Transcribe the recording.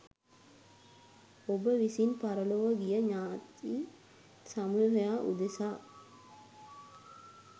ඔබ විසින් පරලොව ගිය ඤාති සමූහයා උදෙසා